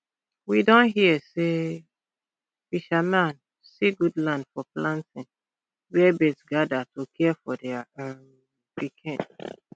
we don hear say fisherman see good land for planting where birds gather to care for their um pikin